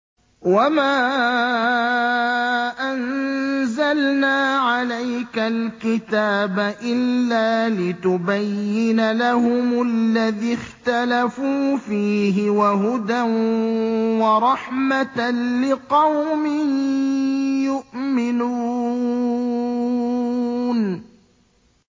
وَمَا أَنزَلْنَا عَلَيْكَ الْكِتَابَ إِلَّا لِتُبَيِّنَ لَهُمُ الَّذِي اخْتَلَفُوا فِيهِ ۙ وَهُدًى وَرَحْمَةً لِّقَوْمٍ يُؤْمِنُونَ